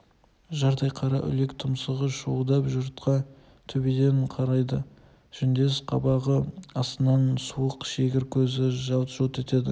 жардай қара үлек тұмсығы шуылдап жұртқа төбеден қарайды жүндес қабағы астынан суық шегір көзі жалт-жұлт етеді